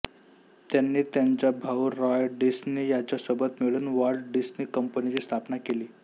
त्यांनी त्यांचा भाऊ रॉय डिस्नी याच्यासोबत मिळून वॉल्ट डिस्नी कंपनीची स्थापना केली